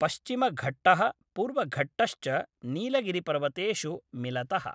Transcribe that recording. पश्चिमघट्टः पूर्वघट्टश्च नीलगिरिपर्वतेषु मिलतः ।